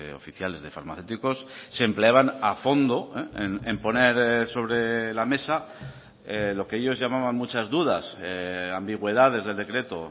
oficiales de farmacéuticos se empleaban a fondo en poner sobre la mesa lo que ellos llamaban muchas dudas ambigüedades del decreto